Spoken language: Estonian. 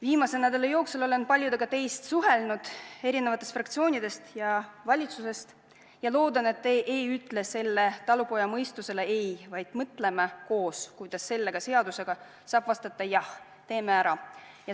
Viimase nädala jooksul olen suhelnud paljudega teist eri fraktsioonidest ja valitsusest ning loodan, et te ei ütle talupojamõistusele ei, vaid me mõtleme koos, kuidas selle seadusega saaks vastata, et jah, teeme ära.